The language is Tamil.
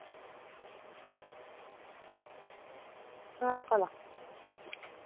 பாக்கலாம்